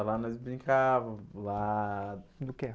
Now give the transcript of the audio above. Ah, lá nós brincavam, lá... Do quê?